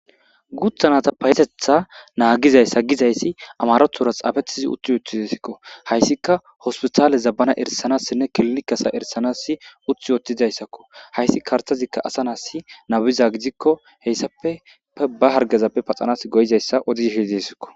Guthanata payetetha naagizays sa gizayssi amarothura xaafettizi utti wottizasikko hayssika hospitaale zabbana erisanassinne kilinikasa erisanasi utti yoottizayssakko hayssi kartazikka asa naassi nabiza gidikko heyssafe ba hargazappe paxanas goyizayssa odiishidisikko